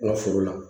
N ka furu la